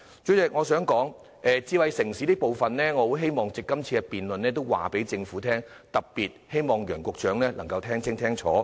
主席，關於智慧城市的意見，我希望藉着今次的辯論告訴政府，特別希望楊局長能夠聽清楚。